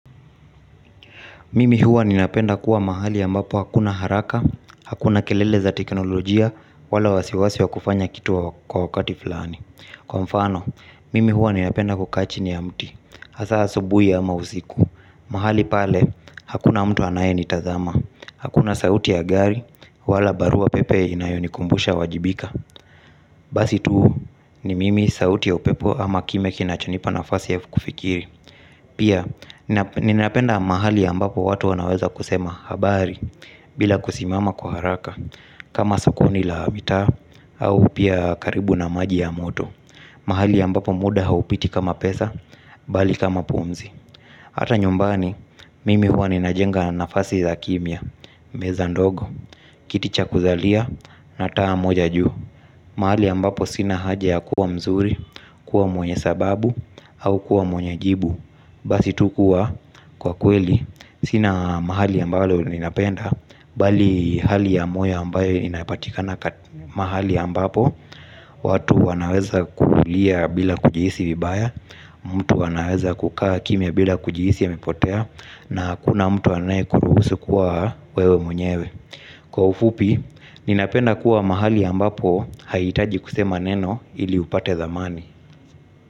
Mimi huwa ninapenda kuwa mahali ambapo hakuna haraka, hakuna kelele za teknolojia wala wasiwasi wa kufanya kitu kwa wakati fulani. Kwa mfano, mimi huwa ninapenda kukaa chini ya mti, hasa asubui ama usiku. Mahali pale, hakuna mtu anaye nitazama. Hakuna sauti ya gari, wala barua pepe inayonikumbusha wajibika. Basi tu, ni mimi, sauti ya upepo ama kimya kinachonipa nafasi ya kufikiri. Pia, ninapenda mahali ambapo watu wanaweza kusema habari bila kusimama kwa haraka kama sokoni la habitaa au pia karibu na maji ya moto. Mahali ambapo muda haupiti kama pesa bali kama pumzi. Hata nyumbani, mimi huwa ninajenga nafasi za kimya, meza ndogo, kiti cha kuzalia, na taa moja juu. Mahali ambapo sina haja ya kuwa mzuri, kuwa mwenye sababu, au kuwa mwenye jibu. Basi tu kua kwa kweli, sina mahali ambalo ninapenda, bali hali ya moyo ambayo inapatikana kati, mahali ambapo, watu wanaweza kuulia bila kujihisi vibaya, mtu anaweza kukaa kimya bila kujihisi amepotea, na hakuna mtu anaye kuruhusu kuwa wewe mwenyewe. Kwa ufupi, ninapenda kuwa mahali ambapo haitaji kusema neno ili upate dhamani.